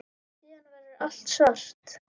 Síðan verður allt svart.